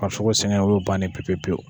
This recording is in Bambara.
farisoko sɛgɛn o y'o bannen ye pepe pewu.